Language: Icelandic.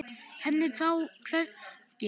Henni brá hvergi.